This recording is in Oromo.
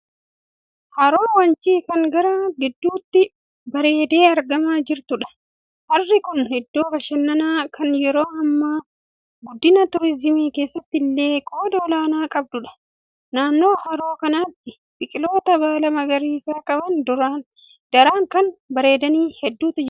Haroo Wancii kan gaara gidduutti bareeddee argamaa jirtuudha. Harri kun iddoo bashannanaa kan yeroo hammaa guddina 'tuurizimii' keessatti illee qooda olaanaa qabduudha. Naannoo haroo kanaatti biqiloota baala magariisa qaban daran kan bareedaan hedduutu jira.